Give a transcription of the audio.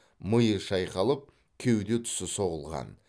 миы шайқалып кеуде тұсы соғылған